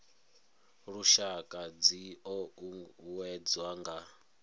lushaka dzi o uuwedzwa nga